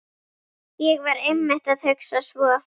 ÉG VAR EINMITT AÐ HUGSA SVO